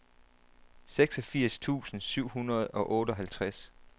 seksogfirs tusind syv hundrede og otteoghalvtreds